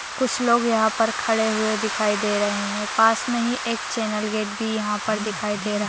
कुछ लोग यहाँ पर खड़े हुवे दिखाई दे रहे है पास मे ही एक चैनल गट भी यहाँ पर दिखाई दे रहा।